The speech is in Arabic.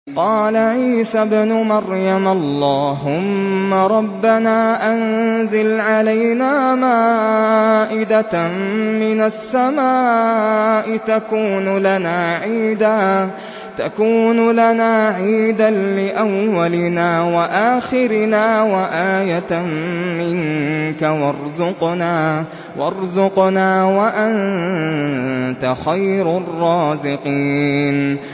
قَالَ عِيسَى ابْنُ مَرْيَمَ اللَّهُمَّ رَبَّنَا أَنزِلْ عَلَيْنَا مَائِدَةً مِّنَ السَّمَاءِ تَكُونُ لَنَا عِيدًا لِّأَوَّلِنَا وَآخِرِنَا وَآيَةً مِّنكَ ۖ وَارْزُقْنَا وَأَنتَ خَيْرُ الرَّازِقِينَ